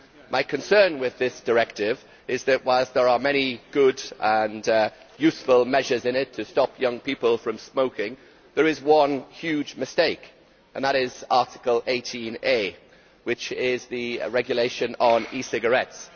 My concern with this directive is that whilst there are many good and useful measures in it to stop young people from smoking, there is one huge mistake, and that is Article 18a, which is the rule on e cigarettes.